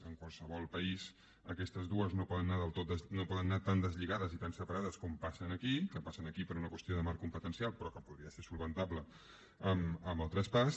en qualsevol país aquestes dues no poden anar tan deslligades i tan separades com passa aquí que passa aquí per una qüestió de marc competencial però que podria ser solucionable amb el traspàs